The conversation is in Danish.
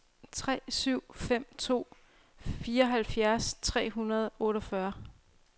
tre syv fem to fireoghalvfjerds tre hundrede og otteogfyrre